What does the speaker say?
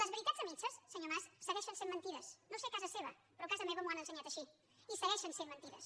les veritats a mitges senyor mas segueixen sent mentides no sé a casa seva però a casa meva m’ho han ensenyat així i segueixen sent mentides